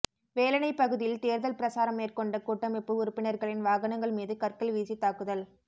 வேலணைப் பகுதியில் தேர்தல் பிரசாரம் மேற்கொண்ட கூட்டமைப்பு உறுப்பினர்களின் வாகனங்கள் மீது கற்கள் வீசி தாக்குதல்